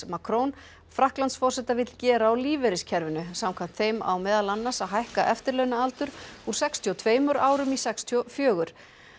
Macron Frakklandsforseta vill gera á lífeyriskerfinu samkvæmt þeim á meðal annars að hækka eftirlaunaaldur úr sextíu og tveimur árum í sextíu og fjögur